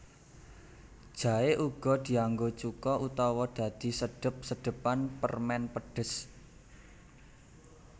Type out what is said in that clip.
Jaé uga dianggo cuka utawa dadi sedhep sedhepan permèn pedhes